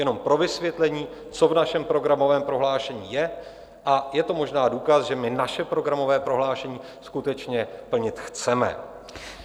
Jenom pro vysvětlení, co v našem programovém prohlášení je, a je to možná důkaz, že my naše programové prohlášení skutečně plnit chceme.